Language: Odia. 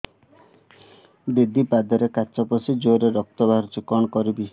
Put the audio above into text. ଦିଦି ପାଦରେ କାଚ ପଶି ଜୋରରେ ରକ୍ତ ବାହାରୁଛି କଣ କରିଵି